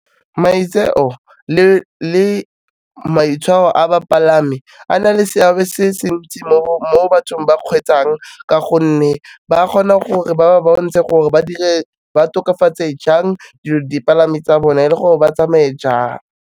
Maitseo le maitshwaro a bapalami a na le seabe se se ntsi mo bathong ba kgweetsang ka gonne ba kgona gore ba ba bontshe gore ba tokafatse jang di palami tsa bone le gore ba tsamaye jang.